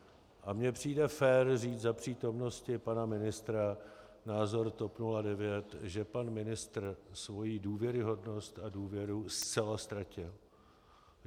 A mně přijde fér říct za přítomnosti pana ministra názor TOP 09, že pan ministr svoji důvěryhodnost a důvěru zcela ztratil.